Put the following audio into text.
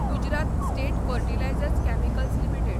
Gujarat state fertilisers chemicals limited